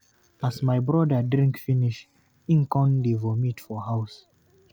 As my broda drink finish, him come dey vomit for house.